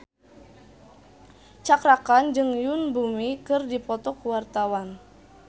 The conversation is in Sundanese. Cakra Khan jeung Yoon Bomi keur dipoto ku wartawan